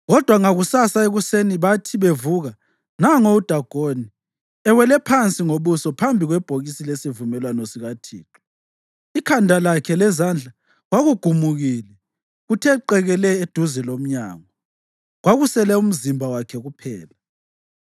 Kodwa ngakusasa ekuseni bathi bevuka, nango uDagoni, ewele phansi ngobuso phambi kwebhokisi lesivumelwano sikaThixo! Ikhanda lakhe lezandla kwakugumukile kuthe qekele eduze lomnyango; kwakusele umzimba wakhe kuphela.